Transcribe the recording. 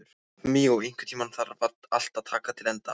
Míó, einhvern tímann þarf allt að taka enda.